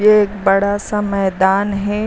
ये एक बड़ा सा मैदान है।